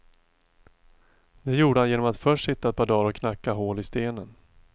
Det gjorde han genom att först sitta ett par dagar och knacka hål i stenen.